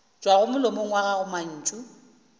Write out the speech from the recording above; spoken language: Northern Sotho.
tšwago molomong wa gago mantšu